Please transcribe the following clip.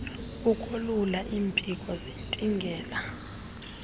ukolula iimpiko zintingela